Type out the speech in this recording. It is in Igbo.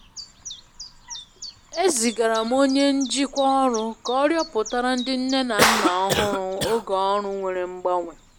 Ezigara m onye njikwa ọru ka ọ rịoputara ndị nne na nna ọhụrụ oge oru nwere mgbanwe.